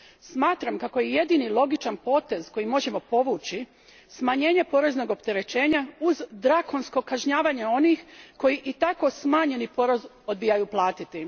Smatram kako je jedini logičan potez koji možemo povući smanjenje poreznog opterećenja uz drakonsko kažnjavanje onih koji i tako smanjeni porez odbijaju platiti.